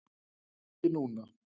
En ekki núna.